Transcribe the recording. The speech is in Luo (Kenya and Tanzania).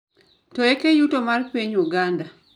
To eke yuto mar piny uganda